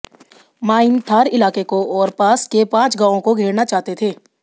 mine Thar इलाके को और पास के पांच गांवों को घेरना चाहते थे